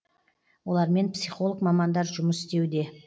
олармен психолог мамандар жұмыс істеуде